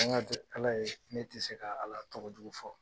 An ka to ala ye. Ne ti se ka ala tɔgɔ jugu fɔ.